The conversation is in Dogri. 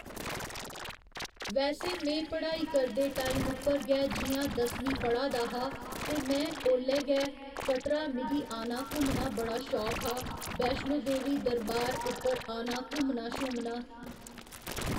वैसे में पढ़ाई करदे टाइम उप्पर गै जियां दसमीं पढ़ा दा हा ते मैं औल्लै गै कटरा मिगी आना घुमना बड़ा शौक हा वैश्णो देवी दरबार उप्पर आना घुमना शूमना